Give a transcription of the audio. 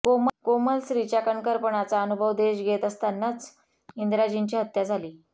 कोमल स्त्रीच्या कणखरपणाचा अनुभव देश घेत असतानाच इंदिराजींची हत्या झाली